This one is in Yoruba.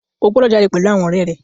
O gbọdọ̀ jáde pèlú àwọn ọ̀rẹ́ rẹ.